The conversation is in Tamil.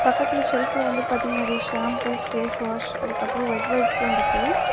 பக்கத்துல செல்ஃப்ல வந்து பாத்தீங்னா நெறைய ஷாம்பூஸ் ஃபேஸ்வாஷ் அதுக்கப்றோ வெட் வைப்ஸ்லா இருக்கு.